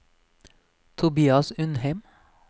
Tobias Undheim